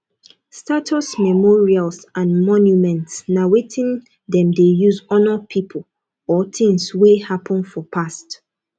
status memorials and monuments na wetin dem de use honour pipo or things wey happen for past